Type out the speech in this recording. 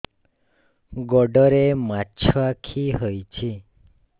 ଗୋଡ଼ରେ ମାଛଆଖି ହୋଇଛି